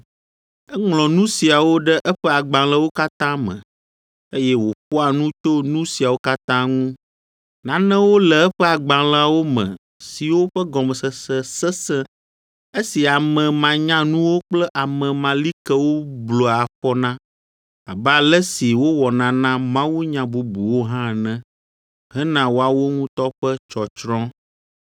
Eŋlɔ nu siawo ɖe eƒe agbalẽwo katã me, eye wòƒoa nu tso nu siawo katã ŋu. Nanewo le eƒe agbalẽawo me siwo ƒe gɔmesese sesẽ, esi ame manyanuwo kple ame malikewo blua afɔ na, abe ale si wowɔna na mawunya bubuwo hã ene, hena woawo ŋutɔ ƒe tsɔtsrɔ̃.